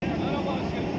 Nərə başqa.